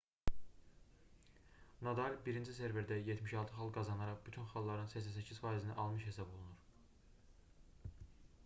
nadal birinci serverdə 76 xal qazanaraq bütün xalların 88%-ni almış hesab olunur